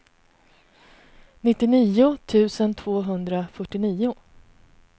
nittionio tusen tvåhundrafyrtionio